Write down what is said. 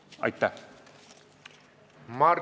Aitäh!